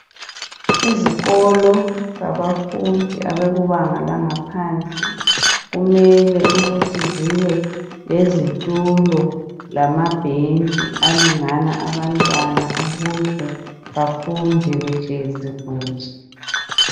Izikolo zabafundi abakubanga langaphansi kumele ukuthi zibe lezitulo lamabhentshi alingana abantwana ukuze bafunde behlezi kuhle.